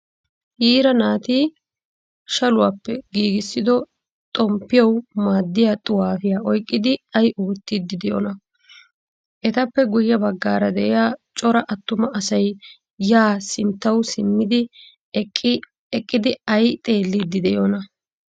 Yiira naati shaluwappe giigisido xomppiyawu maadiyaa xuwaffiyaa oyqqidi ay oottidi deiyona? Etappe guye baggaara deiya cora attuma asay ya sinttawu simmidi eqqidi ayi xeelidi deiyona?